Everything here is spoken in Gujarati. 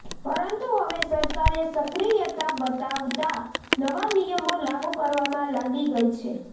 પરંતુ હવે સરકારે સક્રિયતા બતાવતા નવા નિયમો લાગુ કરવામાં લાગી ગઈ છે